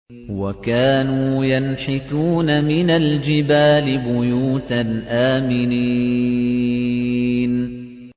وَكَانُوا يَنْحِتُونَ مِنَ الْجِبَالِ بُيُوتًا آمِنِينَ